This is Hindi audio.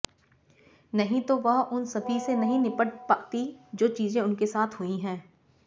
नहीं तो वह उन सभी से नहीं निपट पाती जो चीजे उनके साथ हुई हैं